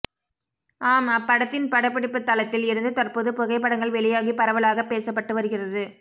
ஆம் அப்படத்தின் படப்பிடிப்பு தளத்தில் இருந்து தற்போது புகைப்படங்கள் வெளியாகி பரவலாக பேசப்பட்டு வருகிறது